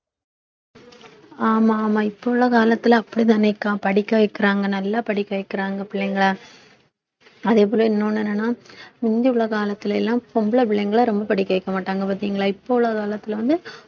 ஆமா ஆமா இப்ப உள்ள காலத்துல அப்படித்தானே அக்கா படிக்க வைக்கிறாங்க நல்லா படிக்க வைக்கிறாங்க பிள்ளைங்களை அதே போல இன்னொன்னு என்னன்னனா முந்தி உள்ள காலத்துல எல்லாம் பொம்பளை பிள்ளைங்களை ரொம்ப படிக்க வைக்க மாட்டாங்க பார்த்தீங்களா இப்ப உள்ள காலத்துல வந்து